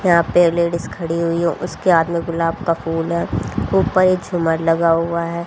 यहां पर लेडिस खड़ी हुई है उसके हाथ में गुलाब का फूल है ऊपर एक झुमर लगा हुआ है।